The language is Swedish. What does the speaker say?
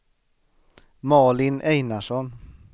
Malin Einarsson